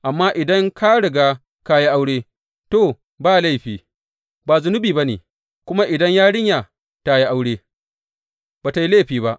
Amma idan ka riga ka yi aure, to, ba laifi, ba zunubi ba ne, kuma idan yarinya ta yi aure, ba tă yi laifi ba.